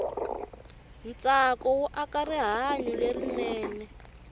ntsako wu aka rihanyu lerinene